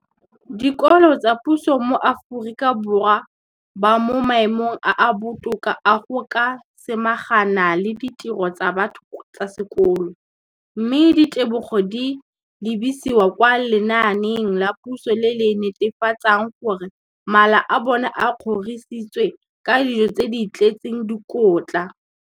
Dikolo tsa puso mo Aforika Borwa ba mo maemong a a botoka a go ka samagana le ditiro tsa bona tsa sekolo, mme ditebogo di lebisiwa kwa lenaaneng la puso le le netefatsang gore mala a bona a kgorisitswe ka dijo tse di tletseng dikotla.